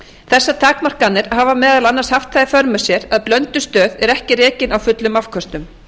þessar takmarkanir hafa meðal annars haft það í för með sér að blöndustöð er ekki rekin á fullum afköstum